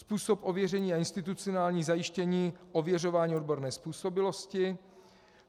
Způsob ověření a institucionální zajištění ověřování odborné způsobilosti.